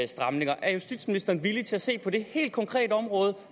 stramninger er justitsministeren villig til at se på det helt konkrete område